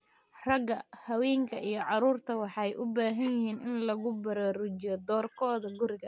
Raga, haweenka iyo carruurta waxay u baahan yihiin in lagu baraarujiyo doorkooda guriga.